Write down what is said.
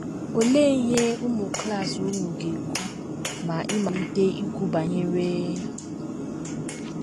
Olee ihe ụmụ klas unu ga - ekwu ma ị malite ikwu banyere...